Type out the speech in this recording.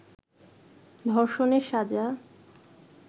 ধর্ষণের সাজা